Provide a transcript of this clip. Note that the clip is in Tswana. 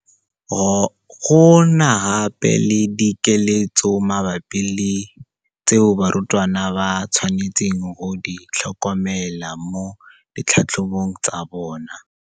Go na gape le dikeletso mabapi le tseo barutwana ba tshwanetseng go di tlhokomela mo ditlhatlhobong tsa bona.